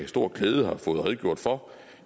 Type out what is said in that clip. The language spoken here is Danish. stor glæde har fået redegjort for